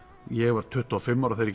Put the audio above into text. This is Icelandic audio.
ég var tuttugu og fimm ára þegar